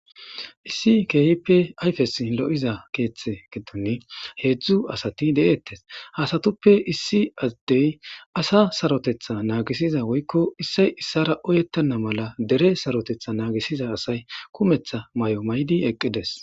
issi keehipe ayfes lo'iza keeththe giddon heedzdzu asati de'eettes hasatuppe issi addey asa sarotetha nagisiza woykko issay issara oyettanna mala dere sarotetha naagisiza asay kumetha mayo maydi eqqides